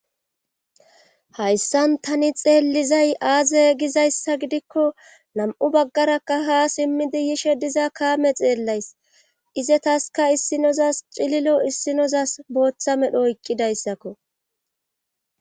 hayssan tani xeellizay aaze gizayssa gidikko nam7u baggarakka ha simmidi yishe diza kaame xeellays ize taska issinozas cililo issinozas booththa medho oyqqidayssakko